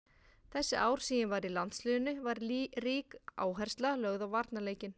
Þessi ár sem ég var í landsliðinu var rík áhersla lögð á varnarleikinn.